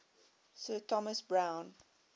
sir thomas browne